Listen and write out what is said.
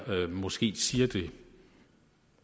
måske siger det